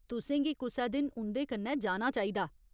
तु'सें गी कुसै दिन उं'दे कन्नै जाना चाहिदा।